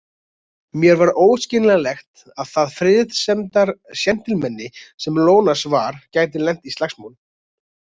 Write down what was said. Mér var óskiljanlegt að það friðsemdarséntilmenni sem Ionas var gæti lent í slagsmálum.